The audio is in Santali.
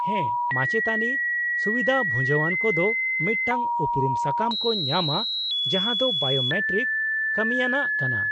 -ᱦᱮᱸ ᱢᱟᱪᱮᱛᱟᱹᱱᱤ, ᱥᱩᱵᱤᱫᱷᱟ ᱵᱷᱩᱡᱟᱹᱣᱟᱱ ᱠᱚᱫᱚ ᱢᱤᱫᱴᱟᱝ ᱩᱯᱨᱩᱢ ᱥᱟᱠᱟᱢ ᱠᱚ ᱧᱟᱢᱟ ᱡᱟᱦᱟᱸ ᱫᱚ ᱵᱟᱭᱳᱢᱮᱴᱨᱤᱠ ᱠᱟᱹᱢᱤᱭᱟᱱᱟᱜ ᱠᱟᱱᱟ ᱾